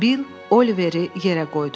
Bill Oliveri yerə qoydu.